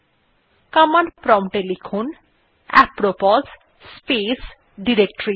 command prompt এ লিখুন এপ্রোপোস স্পেস ডিরেক্টরিস